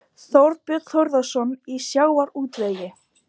Þorbjörn Þórðarson: Í sjávarútvegi?